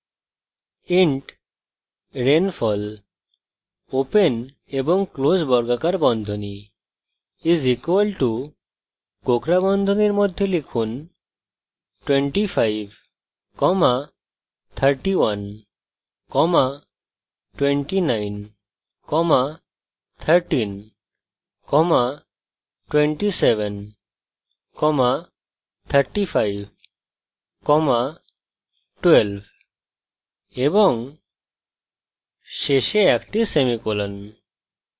int rainfall open এবং close বর্গাকার বন্ধনী = কোঁকড়া বন্ধনীর মধ্যে লিখুন 25312913273512 এবং শেষে একটি semicolon